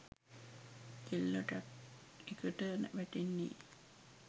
කෙල්ල ට්‍රැක්එකට වැටෙන්නෙ.